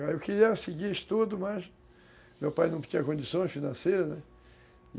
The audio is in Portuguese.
Eu queria seguir estudo, mas meu pai não tinha condições financeiras, né.